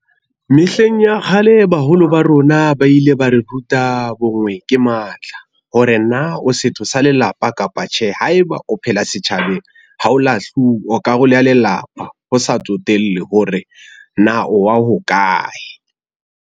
Mehleng ya kgale, baholo ba rona ba ile ba re ruta bo ngwe ke matla, hore na o setho sa lelapa kapa tjhe. Haeba o phela setjhabeng, ha ho lahluwa o karolo ya lelapa, ho sa tsotelle hore na wa hokae.